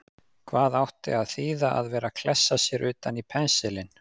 Hvað átti að þýða að vera að klessa sér utan í pensilinn!